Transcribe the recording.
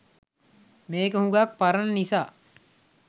මේක හුඟක් පරණ නිසා